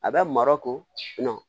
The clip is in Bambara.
A bɛ marɔku